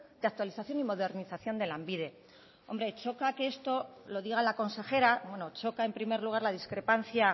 de actualización y modernización de lanbide hombre choca que esto lo diga la consejera choca en primer lugar la discrepancia